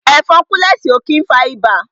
Ẹ̀fọn kúlẹ̀sì ó kí ń fa ibà